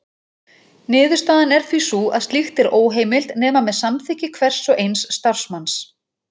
Niðurstaðan er því sú að slíkt er óheimilt nema með samþykki hvers og eins starfsmanns.